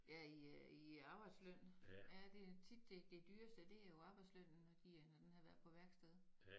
Ja i øh i arbejdsløn? Ja det tit det dyreste det jo arbejdslønnen når de er når den har været på værksted